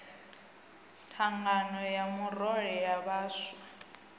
thangana ya murole ya vhaswa